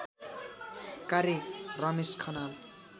कार्य रमेश खनाल